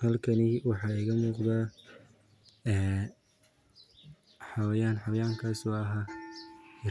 Halkani waxa iga muuqda ee xawayan, xawayankas oo ah